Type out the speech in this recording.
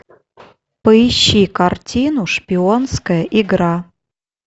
поищи картину шпионская игра